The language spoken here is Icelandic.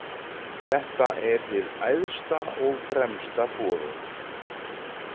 Þetta er hið æðsta og fremsta boðorð.